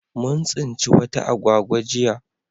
Mun tsinci wata agwagwa jiya